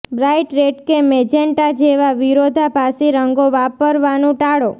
bright red કે magenta જેવા વિરોધાભાસી રંગો વાપરવાનું ટાળો